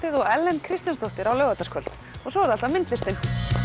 og Ellen Kristjánsdóttir á laugardagskvöld og svo er það alltaf myndlistin